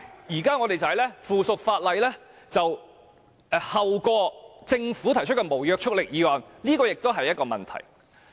現在我們相反，附屬法例後於政府提出的無立法效力議案討論，這也是一個問題。